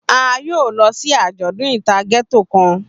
A yoo lọ si ajọdun ita Ghetto kan.